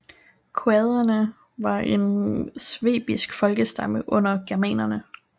Quaderne var en svebisk folkestamme under germanerne